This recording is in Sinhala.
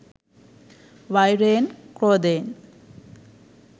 වෛරයෙන්, ක්‍රෝධයෙන්